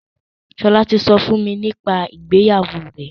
Ṣọlá ti sọ fún mi nípa ìgbéyàwó rẹ̀.